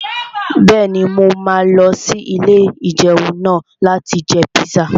Bẹ́ẹ̀ni, mo máa lọ sí ilé-ìjẹun náà láti jẹ píṣà